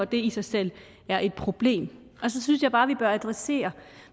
det i sig selv er et problem så synes jeg bare vi bør adressere